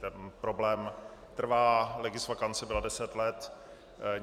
Ten problém trvá, legisvakance byla deset let.